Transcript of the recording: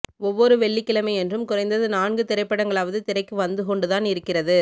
ஒவ்வொரு வெள்ளிக்கிழமையன்றும் குறைந்தது நான்கு திரைப்படங்களாவது திரைக்கு வந்து கொண்டுதான் இருக்கிறது